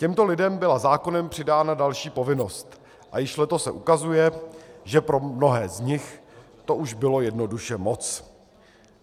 Těmto lidem byla zákonem přidána další povinnost a již letos se ukazuje, že pro mnohé z nich to už bylo jednoduše moc.